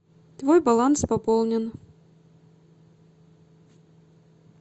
твой баланс пополнен